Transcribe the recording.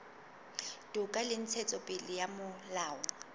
toka le ntshetsopele ya molao